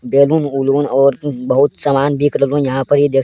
बैलून उलून और बहुत सामान बिक रहलो यहां पर इ देख --